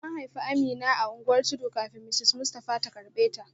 An haifi Amina a unguwar tudu kafin Mrs Mustafa ta karbe ta